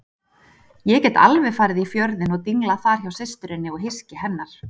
Ég get alveg farið í Fjörðinn og dinglað þar hjá systurinni og hyski hennar.